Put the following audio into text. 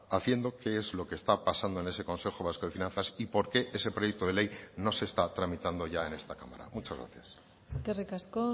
haciendo qué es lo que está pasando en ese consejo vasco de finanzas y por qué ese proyecto de ley no se está tramitando ya en esta cámara muchas gracias eskerrik asko